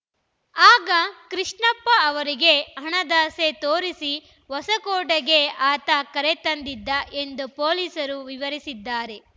ಆಗ ಕೃಷ್ಣಪ್ಪ ಅವರಿಗೆ ಹಣದಾಸೆ ತೋರಿಸಿ ಹೊಸಕೋಟೆಗೆ ಆತ ಕರೆತಂದಿದ್ದ ಎಂದು ಪೊಲೀಸರು ವಿವರಿಸಿದ್ದಾರೆ